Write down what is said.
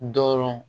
Dɔrɔn